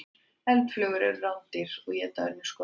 Eldflugur eru rándýr og éta önnur skordýr.